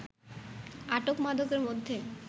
আটক মাদকের মধ্যে